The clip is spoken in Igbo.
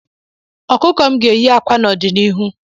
Okuko m ga-eyi akwa n'ọdịnihu